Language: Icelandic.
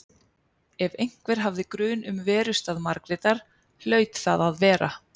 Ef einhver hafði grun um verustað Margrétar hlaut það að vera